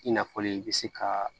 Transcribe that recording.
I n'a fɔ i bɛ se ka